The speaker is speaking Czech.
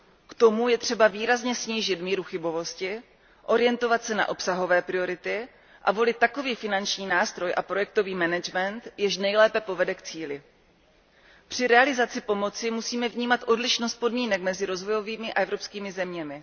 K tomu je třeba výrazně snížit míru chybovosti, orientovat se na obsahové priority a volit takový finanční nástroj a projektový management, jež nejlépe povede k cíli. Při realizaci pomoci musíme vnímat odlišnost podmínek mezi rozvojovými a evropskými zeměmi.